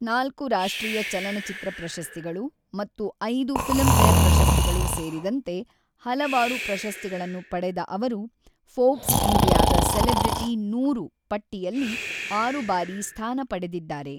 ನಾಲ್ಕು ರಾಷ್ಟ್ರೀಯ ಚಲನಚಿತ್ರ ಪ್ರಶಸ್ತಿಗಳು ಮತ್ತು ಐದು ಫಿಲ್ಮ್‌ಫೇರ್‌ ಪ್ರಶಸ್ತಿಗಳು ಸೇರಿದಂತೆ ಹಲವಾರು ಪ್ರಶಸ್ತಿಗಳನ್ನು ಪಡೆದ ಅವರು ಫೋರ್ಬ್ಸ್ ಇಂಡಿಯಾದ ಸೆಲೆಬ್ರಿಟಿ ನೂರು ಪಟ್ಟಿಯಲ್ಲಿ ಆರು ಬಾರಿ ಸ್ಥಾನ ಪಡೆದಿದ್ದಾರೆ.